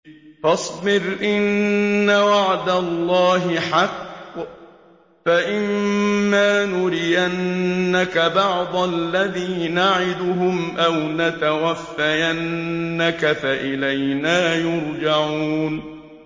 فَاصْبِرْ إِنَّ وَعْدَ اللَّهِ حَقٌّ ۚ فَإِمَّا نُرِيَنَّكَ بَعْضَ الَّذِي نَعِدُهُمْ أَوْ نَتَوَفَّيَنَّكَ فَإِلَيْنَا يُرْجَعُونَ